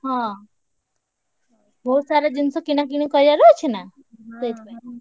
ହଁ ବହୁତ୍ ସାରା ଜିନିଷ କିଣାକିଣି କରିଆର ଅଛି ନା ସେଇଥିପାଇଁ।